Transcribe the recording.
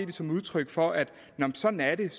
det som et udtryk for at sådan er det